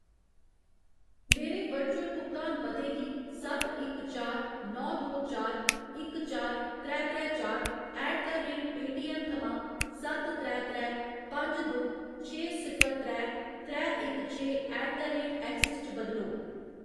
मेरे वर्चुअल भुगतान पते गी सत्त इक चार नौ दो चार इक चार त्रै त्रै चार ऐट द रेट पेऽटीऐम्म थमां सत्त त्रै त्रै पंज दो छे सिफर त्रै त्रै इक छे ऐट द रेट ऐक्सिस च बदलो